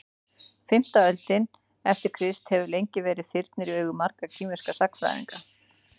fimmta öldin eftir krist hefur lengi verið þyrnir í augum margra kínverskra sagnfræðinga